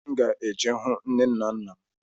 M ga-eje ahụ nne m na nna m